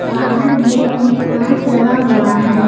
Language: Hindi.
बाहर गेट में कांच लगा हुआ है।